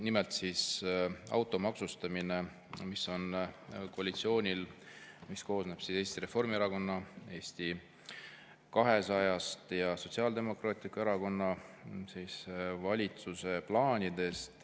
Nimelt autode maksustamine, mis on koalitsioonil, mis koosneb Eesti Reformierakonnast, Eesti 200-st ja Sotsiaaldemokraatlikust Erakonnast, plaanis.